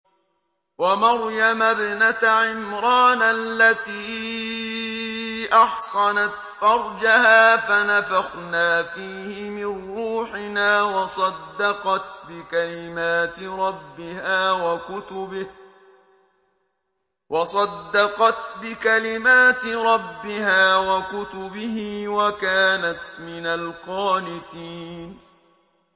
وَمَرْيَمَ ابْنَتَ عِمْرَانَ الَّتِي أَحْصَنَتْ فَرْجَهَا فَنَفَخْنَا فِيهِ مِن رُّوحِنَا وَصَدَّقَتْ بِكَلِمَاتِ رَبِّهَا وَكُتُبِهِ وَكَانَتْ مِنَ الْقَانِتِينَ